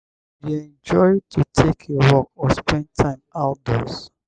you dey enjoy to take a walk or spend time outdoors?